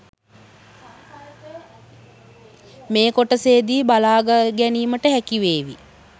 මේ කොටසේදී බලා ගැනීමට හැකිවේවී.